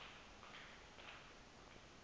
mibu zo yonke